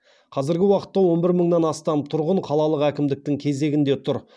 қазіргі уақытта он бір мыңнан астам тұрғын қалалық әкімдіктің кезегінде тұр